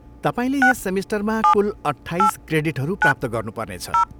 तपाईँले यस सेमिस्टरमा कुल अट्ठाइस क्रेडिटहरू प्राप्त गर्नुपर्नेछ।